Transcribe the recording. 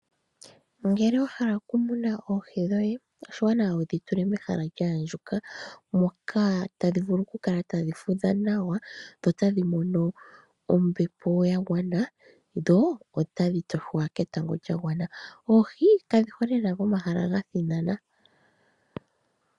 Ngele wa hala oku muna oohi dhoye, oshiwanawa wudhi tule mehala lya andjuka moka tadhi vulu oku kala tadhi fudha nawa, dho tadhi mono ombepo ya gwana, dho otadhi toshwa ketango lya gwana. Oohi kadhi hole lela pomahala ga thinana.